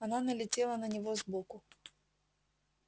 она налетела на него сбоку